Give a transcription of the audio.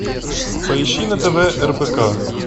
поищи на тв рбк